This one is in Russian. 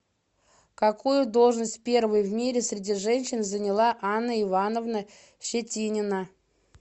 какую должность первой в мире среди женщин заняла анна ивановна щетинина